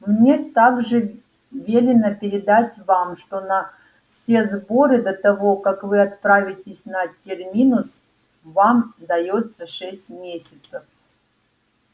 мне также велено передать вам что на все сборы до того как вы отправитесь на терминус вам даётся шесть месяцев